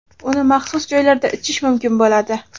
Uni maxsus joylarda ichish mumkin bo‘ladi.